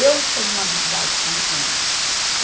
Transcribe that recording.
Eu tenho uma habilidade com as mãos.